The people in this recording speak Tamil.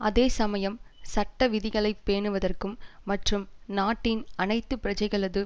அதே சமயம் சட்ட விதிகளை பேணுவதற்கும் மற்றும் நாட்டின் அனைத்து பிரஜைகளது